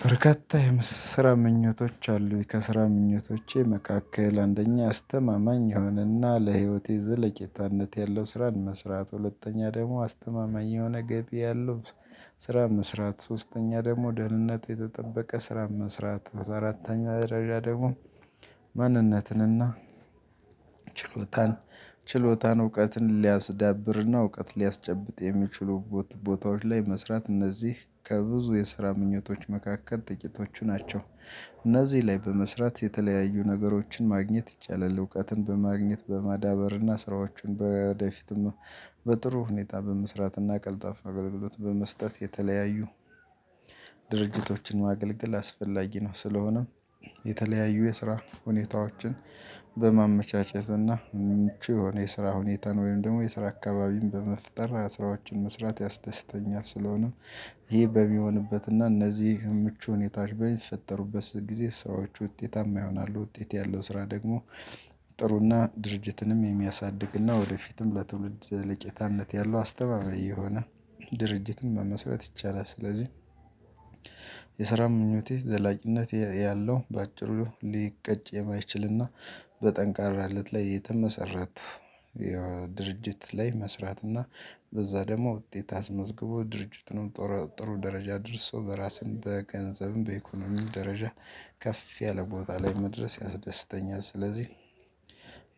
በርከታ የምስራ ምኞቶች አሉኝ ከስራ ምኞቶቼ መካከል አንደኛ አስተማማኝ የሆነ እና ለህይወቴ ዝለቄታነት ያለው ስራን መስራት ሁለተኛ ደግሞ አስተማማኝ የሆነ ገቢ ያለው በርከታ የምስራ ምኞቶች አሉኝ ከስራ ምኞቶቼ መካከል አንደኛ አስተማማኝ የሆነ እና ለህይወቴ ዝለቄታነት ያለው ስራን መስራት ሁለተኛ ደግሞ አስተማማኝ የሆነ ገቢ ያለው። ችሎታን ችሎታን እውቀትን ሊያስዳብርና እውቀት ሊያስጨብጥ የሚችሉ ቦታዎች ላይ መስራት እነዚህ ከብዙ የስራ ምኞቶች መካከል ጥቂቶቹ ናቸው። እነዚህ ላይ በመስራት የተለያዩ ነገሮችን ማግኘት ይቻላል። እውቀትን በማግኘት በማዳበርና ስራዎችን በደፊትም በጥሩ ሁኔታ በመስራትና ቀልጣፍ አገልግሎት በመስጠት የተለያዩ ድርጅቶችን ማገልገል አስፈላጊ ነው። ስለሆነም የተለያዩ የስራ ሁኔታዎችን በማመቻቸት እና ምቹ የሆነ የስራ ሁኔታ ነው። ወይም ደግሞ የስራ አካባቢን በመፍጠር ስራዎችን መስራት ያስደስተኛል ስለሆነ። ይሄ በሚሆንበት እና እነዚህ ምቹ ሁኔታ በሚፈጠሩበት ጊዜ ስራዎች ውጤታማ ይሆናሉ። ውጤት ያለው ስራ ደግሞ። ጥሩ እና ድርጅትንም የሚያሳድግ እና ወደፊትም ለትውልድ ዘለቄታነት ያለው አስተማማኝ የሆነ ድርጅትን መመስረት ይቻላል። ስለዚህ። የስራ ምኞቴ ዘላቂነት ያለው በአጭሩ ሊቀጭ የማይችል እና በጠንካራነት ላይ የተመሰረቱ ድርጅት ላይ መስራት። እና በዛ ደግሞ ውጤት አስመዝግቦ ድርጅቱንም ጥሩ ደረጃ ደርሶ በራስን በገንዘብም በኢኮኖሚም ደረጃ ከፍ ያለ ቦታ ላይ መድረስ ያስደስተኛል። ስለዚህ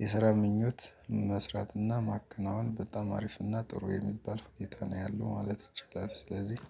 የስራ ምኞት መስራት እና ማከናወን በጣም አሪፍ እና ጥሩ የሚባል ሁኔታ ነው ያለው ማለት ይቻላል። ስለዚህ